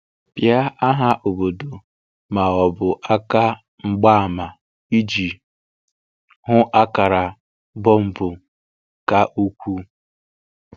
Pịa aha obodo ma ọ bụ àká mgbaàmà iji hụ̀ àkàrà bọ̀mbù ka ukwuu.